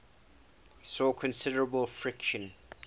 saw considerable friction